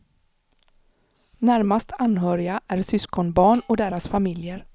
Närmast anhöriga är syskonbarn och deras familjer.